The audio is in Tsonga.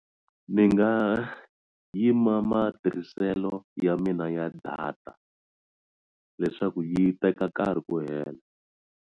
Ni nga yima matirhiselo ya mina ya data leswaku yi teka nkarhi ku hela.